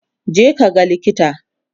je ka ga likita!